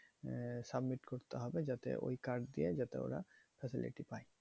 আহ submit করতে হবে যাতে ওই card দিয়ে যাতে ওরা facility পায়।